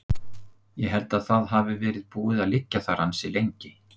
Ég held að það hafi verið búið að liggja þar ansi lengi.